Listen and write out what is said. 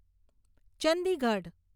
Chandigarh